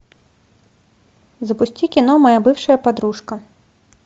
запусти кино моя бывшая подружка